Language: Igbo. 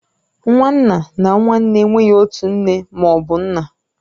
Nwa nna na nwa nne enweghị otu nne ma ọ bụ nna